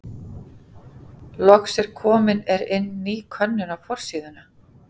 Loks er komin er inn ný könnun á forsíðuna.